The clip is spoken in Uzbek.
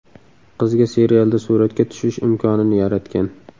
Qizga serialda suratga tushish imkonini yaratgan.